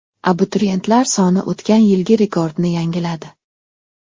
Abituriyentlar soni o‘tgan yilgi rekordni yangiladi.